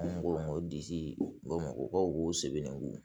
Mɔgɔw disi bamakɔ sɛbɛnnen don